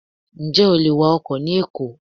Ǹjẹ́ o lè wa ọkọ̀ ni Èkó?